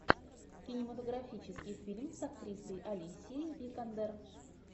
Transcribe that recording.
кинематографический фильм с актрисой алисией викандер